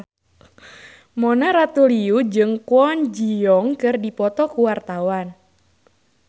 Mona Ratuliu jeung Kwon Ji Yong keur dipoto ku wartawan